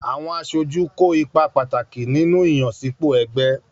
Àwọn aṣojú kó ipa pàtàkì nínú ìyànsípò ẹgbẹ́.